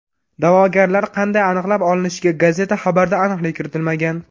Da’vogarlar qanday aniqlab olinishiga gazeta xabarida aniqlik kiritilmagan.